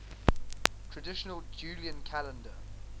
traditional julian calendar